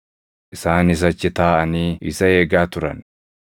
Isaanis achi taaʼanii isa eegaa turan.